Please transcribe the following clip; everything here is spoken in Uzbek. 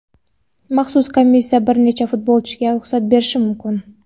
maxsus komissiya bir nechta futbolchiga ruxsat berishi mumkin.